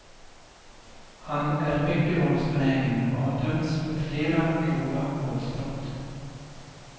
Han är mycket våldsbenägen och har dömts för flera grova våldsbrott.